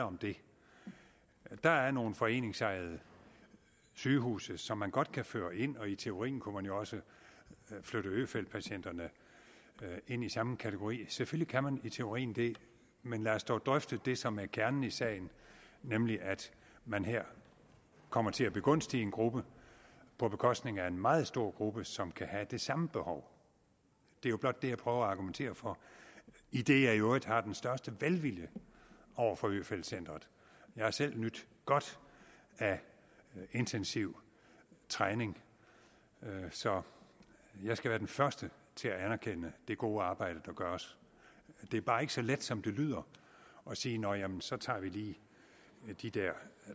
om det der er nogle foreningsejede sygehuse som man godt kan føre ind og i teorien kunne man jo også flytte øfeldtpatienterne ind i samme kategori selvfølgelig kan man det i teorien men lad os dog drøfte det som er kernen i sagen nemlig at man her kommer til at begunstige en gruppe på bekostning af en meget stor gruppe som kan have det samme behov det er jo blot det jeg prøver at argumentere for idet jeg i øvrigt har den største velvilje over for øfeldt centret jeg har selv nydt godt af intensiv træning så jeg skal være den første til at anerkende det gode arbejde der gøres det er bare ikke så let som det lyder at sige nå jamen så tager vi lige de der